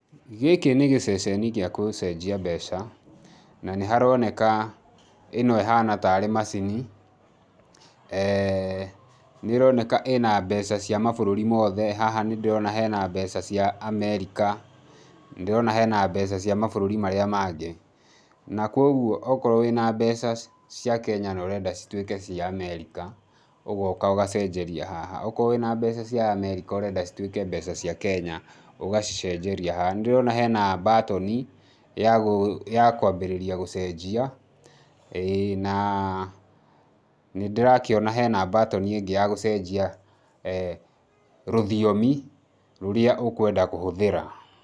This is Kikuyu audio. Gĩkĩ nĩ gĩceceni gĩa gũcenjia mbeca na nĩharoneka ĩno ĩhana ta rĩ macini nĩĩroneka ĩna mbeca cia mabũrũri mothe, haha nĩ ndĩrona hena mbeca cia Amerika, nĩ ndĩrona hena mbeca cia mabũrũri marĩa mangĩ na kwoguo okorwo wĩna mbeca cia Kenya na ũrenda cituĩke cia Amerika ũgoka ũgacenjeria haha, okorwo wĩna mbeca cia Amerika ũrenda cituĩke mbeca cia Kenya ũgacinjeria haha, nĩ ndĩrona hena mbatoni ya kwambĩrĩria gũcenjia ĩĩ naaa nĩ ndĩrakĩona hena mbatoni ĩngĩ ya gũcenjia rũthiomi rũrĩa ũkwenda kũhũthĩra.